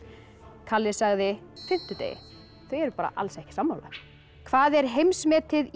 kalli sagði fimmtudegi þau eru bara alls ekki sammála hvað er heimsmetið í